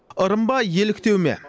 ырым ба еліктеу ме